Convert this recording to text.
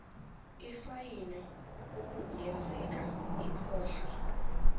ifayini okungenzeka ikhokhwe